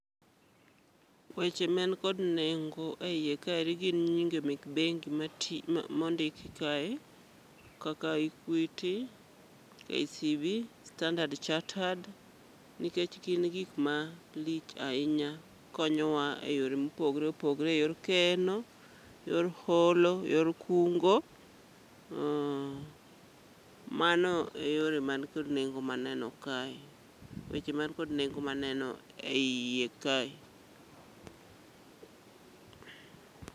Weche ma en kon nengo e iye kaeri gin nyinge mek bengi mati mondik kae. Kaka Equity, KCB, Standard Chartered, nikech gin gik ma lich ahinya konyowa e yore mopogre opogre mar keno, yor holo, yor kungo. Uh, mano e yore man kod nengo maneno kae, weche man kod nengo maneno e iye kae.